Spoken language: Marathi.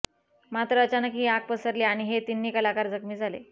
मात्र अचानक ही आग पसरली आणि हे तिन्ही कलाकार जखमी झाले